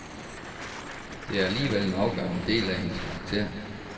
Det er alligevel en afgørende del af hendes karakter.